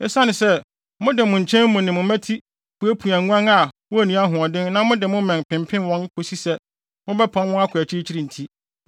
Esiane sɛ, mode mo nkyɛn mu ne mmati puapua nguan a wonni ahoɔden na mode mo mmɛn pempem wɔn kosi sɛ mobɛpam wɔn akɔ akyirikyiri nti,